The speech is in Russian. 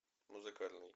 музыкальный